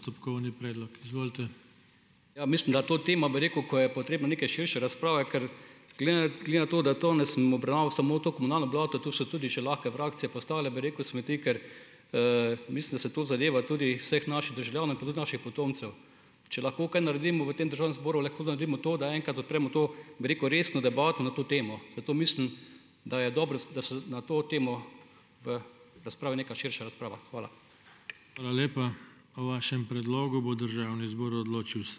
Ja, mislim, da to tema, bi rekel, ko je potrebno neke širše razprave, ker glede na to, da danes sem obravnaval samo to komunalno blato, tu so tudi še lahko vragce pa ostale, bi rekel, smeti, ker, mislim, da se to zadeva tudi vseh naših državljanov in pa tudi naših potomcev. Če lahko kaj naredimo v tem državnem zboru, lahko naredimo to, da enkrat odpremo to, bi rekel, resno debato na to temo. Zato mislim, da je dobro, da se na to temo v razpravi neka širša razprava. Hvala.